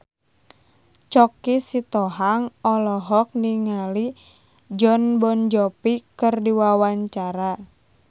Choky Sitohang olohok ningali Jon Bon Jovi keur diwawancara